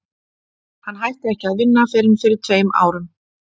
Hann hætti ekki að vinna fyrr en fyrir tveim árum.